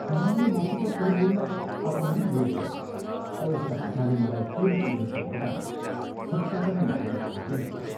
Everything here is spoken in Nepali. मायाले मसित केही बोल्न अपमान बोध गरी औ उसका पिताले मलाई फेरि तिनीहरूको ढोकामा खुट्टा पनि नहाल्ने आदेश दिए।